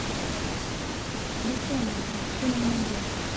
бессонница ты мне найдешь